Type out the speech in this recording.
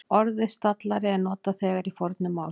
Orðið stallari er notað þegar í fornu máli.